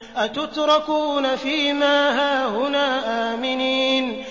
أَتُتْرَكُونَ فِي مَا هَاهُنَا آمِنِينَ